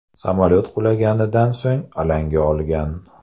Samolyot qulaganidan so‘ng alanga olgan.